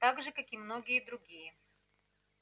так же как и многие другие